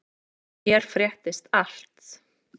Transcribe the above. Hér fréttist allt.